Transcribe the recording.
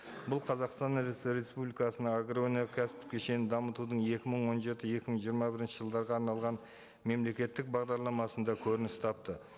бұл қазақстан республикасының агроөнеркәсіптік кешенін дамытудың екі мың он жеті екі мың жиырма бірінші жылдарға арналған мемлекеттік бағдарламасында көрініс тапты